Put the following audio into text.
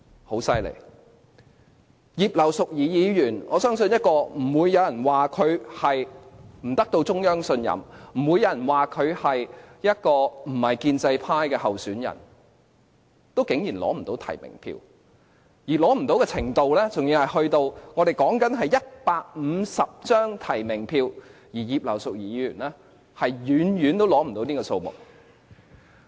很厲害，葉劉淑儀議員，我相信不會有人說她不獲中央信任；不會有人說她不是建制派的候選人，但她竟然也無法取得足夠提名票，而所欠的票數是，我們說的只是150張提名票，但葉劉淑儀議員遠遠無法取得這個數目。